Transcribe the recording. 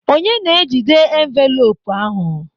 Onye na-ejide envelopu ahụ?